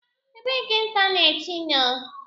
Ebee ka teneti nọ?